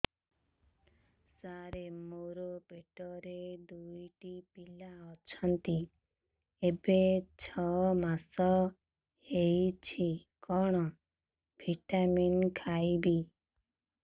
ସାର ମୋର ପେଟରେ ଦୁଇଟି ପିଲା ଅଛନ୍ତି ଏବେ ଛଅ ମାସ ହେଇଛି କଣ ଭିଟାମିନ ଖାଇବି